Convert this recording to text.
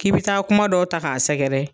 K'i bɛ taa kuma dɔ ta k'a sɛgɛrɛ